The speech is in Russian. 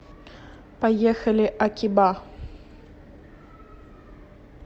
поехали акиба